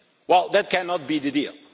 Well, that cannot be the deal.